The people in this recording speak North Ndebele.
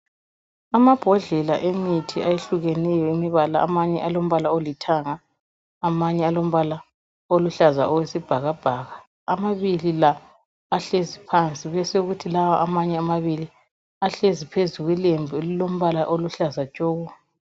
Amabhodlela emithi ayehlukeneyo yemibala, amanye alombala olithanga amanye alombala oluhlaza owesibhakabhaka. Amabili la ahlezi phansi besekuthi amanye la amabili ahlezi phezu kwelembu elilombala oluhlaza tshoko.